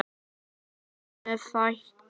Hvað með þætti?